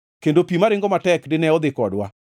kendo pi maringo matek dine odhi kodwa.